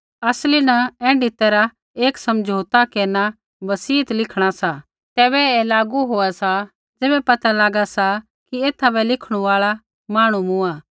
असली न ऐण्ढी तैरहा रा एक समझौता केरना एक बसियत लिखणा सा तैबै ऐ तैबै लागू होआ सा ज़ैबै पता लागा सा कि एथा बै लिखणु आल़ा मांहणु मूँआ